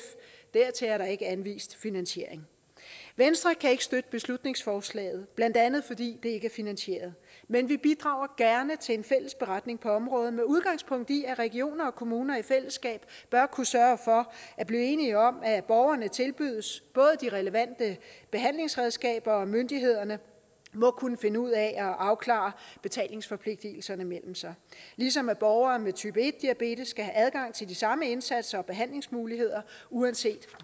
er der ikke anvist finansiering venstre kan ikke støtte beslutningsforslaget blandt andet fordi det ikke er finansieret men vi bidrager gerne til en fælles beretning på området med udgangspunkt i at regioner og kommuner i fællesskab bør kunne sørge for at blive enige om at borgerne tilbydes de relevante behandlingsredskaber og myndighederne må kunne finde ud af at afklare betalingsforpligtelserne mellem sig ligesom borgere med type en diabetes skal have adgang til de samme indsatser og behandlingsmuligheder uanset